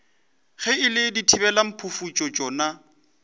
ge e le dithibelamphufutšo tšona